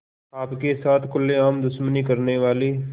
आपके साथ खुलेआम दुश्मनी करने वाले